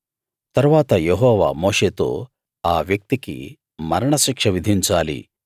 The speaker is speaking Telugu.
తరువాత యెహోవా మోషేతో ఆ వ్యక్తికి మరణ శిక్ష విధించాలి